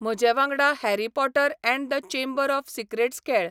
म्हजेवांगडा Harry Potter and the Chamber of Secrets खेळ